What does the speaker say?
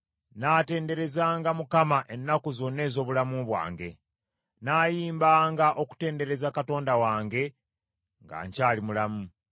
Nnaatenderezanga Mukama ennaku zonna ez’obulamu bwange; nnaayimbanga okutendereza Katonda wange nga nkyali mulamu.